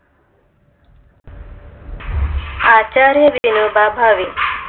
Acharya Vinoba Bhave